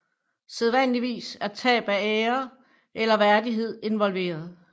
Sædvanligvis er tab af ære eller værdighed involveret